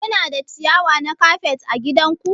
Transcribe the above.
Kuna da ciyawa na kafet ã gidan ku?